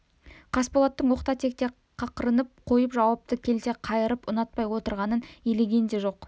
қасболаттың оқта-текте қақырынып қойып жауапты келте қайырып ұнатпай отырғанын елеген де жоқ